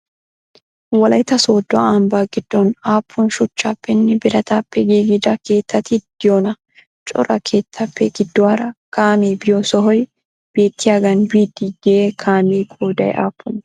wolaytta soddo ambba giddon appun shuchchappene biraatappe giigida keettati deiyoona? cora keettappe giduwara kaamee biyo sohoy beettiyagan biyddi de'iyaa kaamiya qoday appunne?